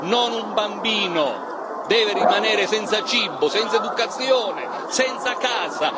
Non un bambino deve rimanere senza cibo, senza istruzione, senza casa